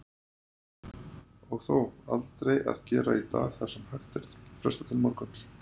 Og þó, aldrei að gera í dag það sem hægt er að fresta til morguns.